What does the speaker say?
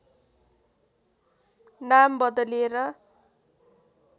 नाम बदलेर